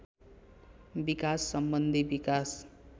विकास सम्बन्धी विकास